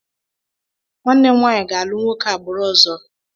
Nwanne m nwaanyị ga-alụ nwoke agbụrụ ọzọ.